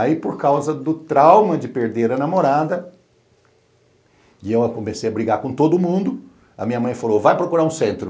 Aí, por causa do trauma de perder a namorada, e eu comecei a brigar com todo mundo, a minha mãe falou, vai procurar um centro.